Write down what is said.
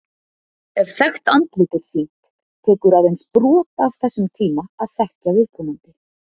Ef þekkt andlit er sýnt, tekur aðeins brot af þessum tíma að þekkja viðkomandi.